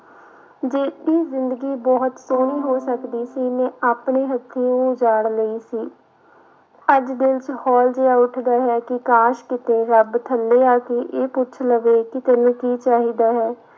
ਜਿਹੜੀ ਜ਼ਿੰਦਗੀ ਬਹੁਤ ਸੋਹਣੀ ਹੋ ਸਕਦੀ ਸੀ ਮੈਂ ਆਪਣੇ ਹੱਥੀਓਂ ਉਜਾੜ ਲਈ ਸੀ, ਅੱਜ ਦਿਲ ਚ ਹੋਲ ਜਿਹਾ ਉੱਠਦਾ ਹੈ ਕਿ ਕਾਸ਼ ਕਿਤੇ ਰੱਬ ਥੱਲੇ ਆ ਕੇ ਇਹ ਪੁੱਛ ਲਵੇ ਕਿ ਤੈਨੂੰ ਕੀ ਚਾਹੀਦਾ ਹੈ।